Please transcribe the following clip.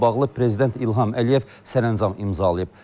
Bununla bağlı prezident İlham Əliyev sərəncam imzalayıb.